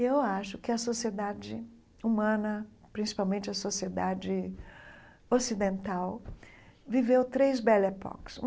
E eu acho que a sociedade humana, principalmente a sociedade ocidental, viveu três.